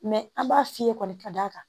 an b'a f'i ye kɔni ka d'a kan